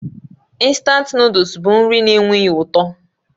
Instant Nụ́dúls bụ nri na-enweghị ụtọ